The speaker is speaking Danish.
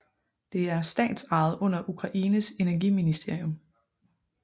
Det er statsejet under Ukraines energiministerium